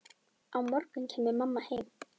Á morgun kæmi mamma heim.